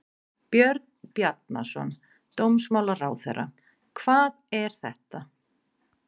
Björn Bjarnason, dómsmálaráðherra: Hvað er þetta?